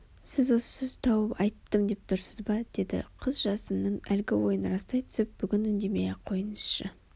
сіз осы сөзді тауып айттым деп тұрсыз ба деді қыз жасынның әлгі ойын растай түсіп бүгін үндемей-ақ қойынызшы